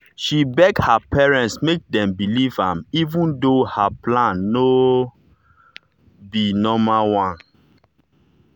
she beg her parents make dem believe am even though her plan no be normal one.